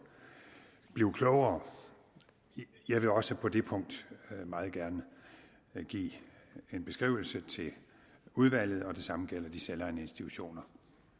blive klogere jeg vil også på det punkt meget gerne give en beskrivelse til udvalget og det samme gælder de selvejende institutioner